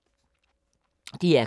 DR K